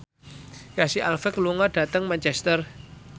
Casey Affleck lunga dhateng Manchester